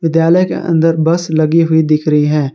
विद्यालय के अंदर बस लगी हुई दिख रही है।